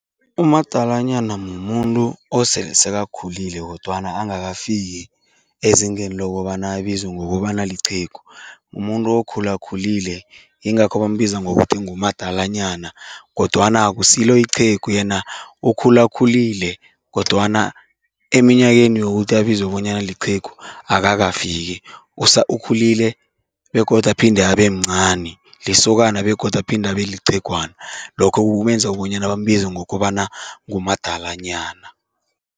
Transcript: Umadalanyana mumuntu osele sekakhulile kodwana angakafiki ezingeni lokobana abizwe ngokobana liqhegu. Mumuntu omkhulu okhulakhulile, yingakho bambiza ngokuthi ngumadalanyana kodwana akusilo iqhegu, yena ukhulakhulile kodwana eminyakeni yokuthi abizwe bonyana liqhegu akakafiki ukhulile begodu aphinde abe mncani, lisokana begodu aphinde abe liqhegwana. Lokho kumenza bonyana bambize ngokobana ngumadalanyana.